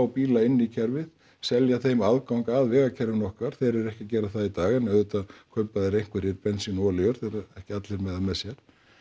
bíla inn í kerfið selja þeim aðgang að vegakerfinu okkar þeir eru ekki að gera það í dag en auðvitað kaupa þeir einhverjir bensín og olíur þeir eru ekki allir með það með sér